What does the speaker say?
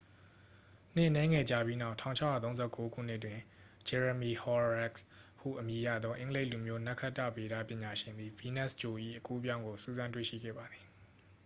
နှစ်အနည်းငယ်ကြာပြီးနောက် 1639 ခုနှစ်တွင် ဂျယ်ရမီ ဟော်ရောခ်စ် ဟုအမည်ရသော အင်္ဂလိပ်လူမျိုး နက္ခတ္တဗေဒပညာရှင်သည် ဗီးနပ်စ်ဂြိုလ်၏ အကူးအပြောင်းကို စူးစမ်းတွေ့ရှိခဲ့ပါသည်